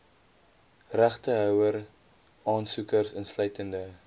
regtehouer aansoekers insluitende